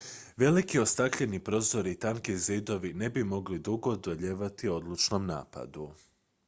veliki ostakljeni prozori i tanki zidovi ne bi mogli dugo odolijevati odlučnom napadu